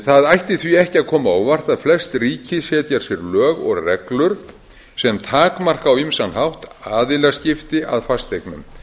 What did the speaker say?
það ætti því ekki að koma á óvart að flest ríki setja sér lög og reglur sem takmarka á ýmsan hátt aðilaskipti að fasteignum